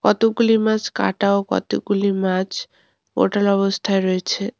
কতগুলি মাছ কাটা ও কতগুলি মাছ ওটাল অবস্থায় রয়েছে।